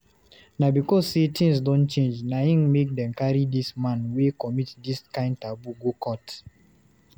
Na because sey tins don change na im make dem carry dis man wey commit dis kind taboo go court.